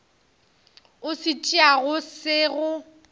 o se tšeago se go